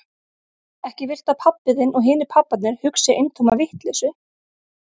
Ekki viltu að pabbi þinn og hinir pabbarnir hugsi eintóma vitleysu?